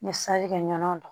N ye salikɛ ɲɔn